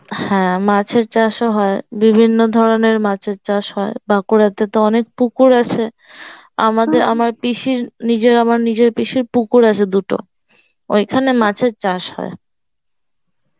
হ্যাঁ মাছের চাষ হয় বিভিন্ন ধরনের মাছের চাষ হয় বাঁকুড়াতে তো অনেক পুকুর আছে আমাদের আমার পিসির নিজের আমার নিজের পুকুর আছে দুটো ওইখানে মাছের চাষ হয়